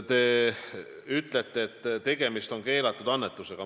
Te ütlete, et tegemist on keelatud annetusega.